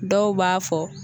Dɔw b'a fɔ